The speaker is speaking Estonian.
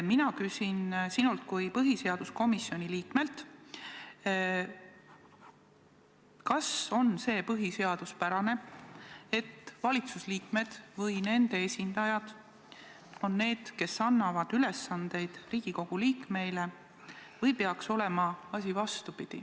Mina küsin sinult kui põhiseaduskomisjoni liikmelt järgmist: kas see on põhiseaduspärane, et valitsuse liikmed või nende esindajad on need, kes annavad Riigikogu liikmeile ülesandeid, või peaks asi olema vastupidi.